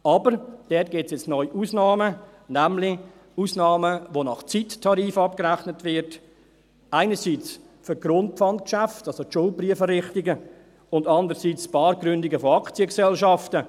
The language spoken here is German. Aber dort gibt es neu Ausnahmen, nämlich Ausnahmen, bei denen nach Zeittarif abgerechnet wird, einerseits für die Grundpfandgeschäfte, also die Schuldbrieferrichtung, und andererseits bei Bargründungen von Aktiengesellschaften.